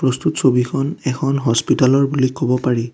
প্ৰস্তুত ছবিখন এখন হস্পিতালৰ বুলি কব পাৰি।